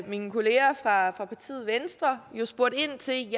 mine kolleger fra partiet venstre jo spurgt ind til